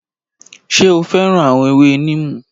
Ṣé o féràn àwọn ewé níìmù?